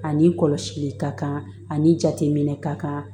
Ani kɔlɔsili ka kan ani jateminɛ ka kan